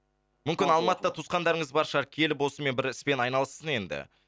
мүмкін алматыда туысқандарыңыз бар шығар келіп осымен бір іспен айналыссын енді